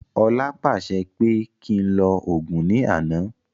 Ọlá pàṣẹ pé kí ń lọ Ògún ní àná